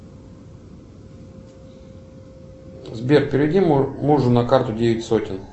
сбер переведи мужу на карту девять сотен